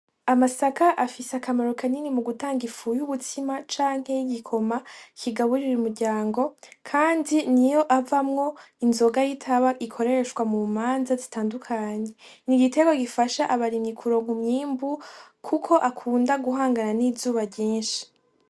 Amasaka afise akamaro kanini mu gutanga ifuya ubutsima canke y'igikoma kigaburira umuryango, kandi ni iyo avamwo inzoga y'itaba ikoreshwa mu manza zitandukanyi igitego gifasha abarimi kuronka myimbu, kuko akunda guhangana n'izuba ryinshi.